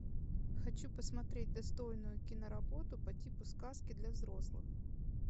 хочу посмотреть достойную кино работу по типу сказки для взрослых